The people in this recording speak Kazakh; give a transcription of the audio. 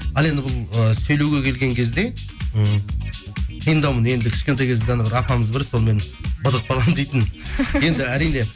ал енді бұл ы сөйлеуге келген кезде м қиындаумын енді кішкентай кезімде апамыз бар еді сонымен быдық балам дейтін енді әрине